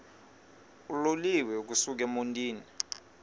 uloliwe ukusuk emontini